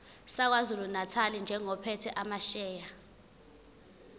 sakwazulunatali njengophethe amasheya